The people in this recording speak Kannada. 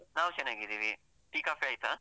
ನಾವ್ ಚೆನ್ನಾಗಿದ್ದೀವಿ, ಟೀ, ಕಾಫಿ ಆಯ್ತಾ?